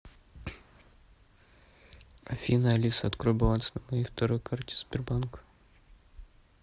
афина алиса открой баланс на моей второй карте сбербанка